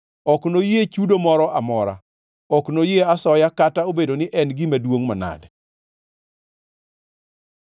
Ok enoyie chudo moro amora; ok enoyie asoya kata obedo ni en gima duongʼ manade.